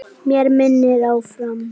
Mér miðar áfram.